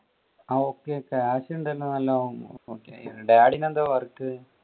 ഓ okay cash ഉണ്ടല്ലോ നല്ലോണം. dad എന്താ work